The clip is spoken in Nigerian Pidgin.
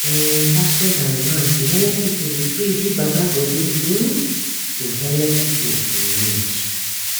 eeh pastos and imams dey helep pipu dey pray give baba godey hmn to helep pipu in need